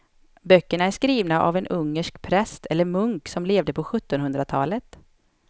Böckerna är skrivna av en ungersk präst eller munk som levde på sjuttonhundratalet.